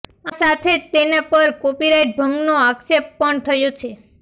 આ સાથે જ તેના પર કોપીરાઈટ ભંગનો આક્ષેપ પણ થયો છે